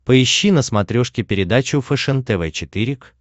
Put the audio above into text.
поищи на смотрешке передачу фэшен тв четыре к